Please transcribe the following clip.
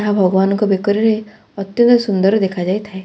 ଏହା ଭଗବାନଙ୍କ ବେକରେ ଅତ୍ୟନ୍ତ ସୁନ୍ଦର ଦେଖାଯାଇଥାଏ ।